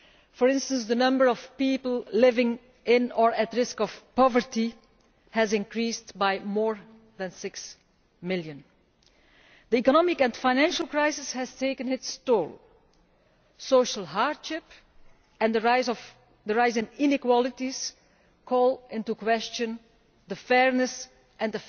For instance, the number of people living in or at risk of poverty has increased by more than 6 million. The economic and financial crisis has taken its toll social hardship and the rise in equality call into question the fairness and